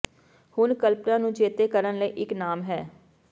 ਹੁਣ ਕਲਪਨਾ ਨੂੰ ਚੇਤੇ ਕਰਨ ਲਈ ਇੱਕ ਨਾਮ ਹੈ